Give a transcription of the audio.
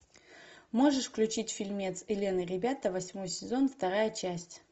можешь включить фильмец элен и ребята восьмой сезон вторая часть